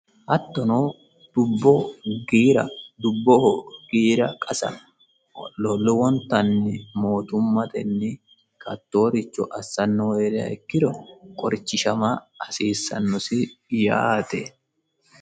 hattono dubbo giira dubboho giira qasa lowontanni mootummatenni togooricho assannohu heeriha ikkiro qorichishama hasiissannosi yaate.